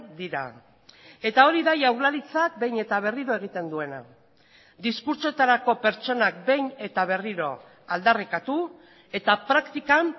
dira eta hori da jaurlaritzak behin eta berriro egiten duena diskurtsoetarako pertsonak behin eta berriro aldarrikatu eta praktikan